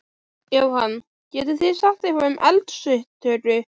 Jóhann: Getið þið sagt eitthvað um eldsupptök?